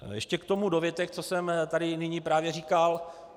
Ještě k tomu dovětek, co jsem tady nyní právě říkal.